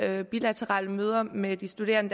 havde bilaterale møder med de studerende